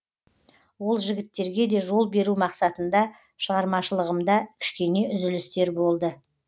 ол жігіттерге де жол беру мақсатында шығармашылығымда кішкене үзілістер болды